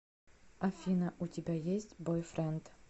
афина у тебя есть бойфренд